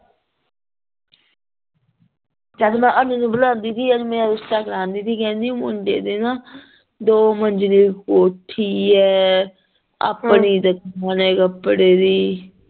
ਜਦ ਮੈਂ ਅਨਿਲ ਨੂ ਬਲਾਂਦੀ ਪਈ ਸੀ insta ਚਲਾਣ ਡ੍ਈ ਸੀ ਕਿਹੰਦੀ ਓ ਮੁੰਡੇ ਦੀ ਨਾ ਦੋ ਮੰਜਲੀ ਕੋਠੀ ਏ ਆਪਣੀ ਓਦੇ ਕੱਪੜੇ ਦੀ